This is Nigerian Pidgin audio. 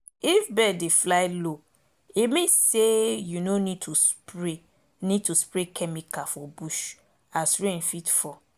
if bird dey fly low e mean say you no need to spray need to spray chemical for bush as rain fit fall